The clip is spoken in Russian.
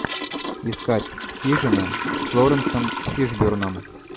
искать хижина с лоуренсом фишберном